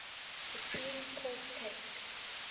supreme court case